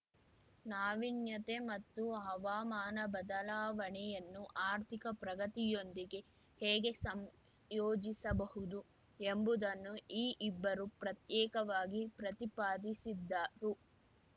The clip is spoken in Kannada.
ನಾವೀನ್ಯತೆ ಮತ್ತು ಹವಾಮಾನ ಬದಲಾವಣೆಯನ್ನು ಆರ್ಥಿಕ ಪ್ರಗತಿಯೊಂದಿಗೆ ಹೇಗೆ ಸಂಯೋಜಿಸಬಹುದು ಎಂಬುದನ್ನು ಈ ಇಬ್ಬರೂ ಪ್ರತ್ಯೇಕವಾಗಿ ಪ್ರತಿಪಾದಿಸಿದ್ದರು